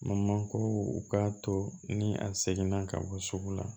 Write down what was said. Mankoro u k'a to ni a seginna ka bɔ sugu la